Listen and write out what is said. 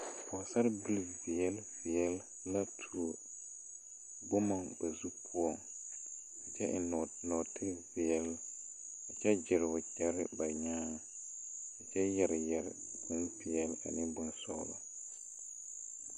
Pɔɔsarebil veɛle veɛle la tuo bomma ba zurre poɔŋ kyɛ eŋ nɔɔte peɛɛl kyɛ gyire wagyɛrre ba nyaaŋ kyɛ yɛre yɛre bonpeɛɛle ane bonsɔglɔ.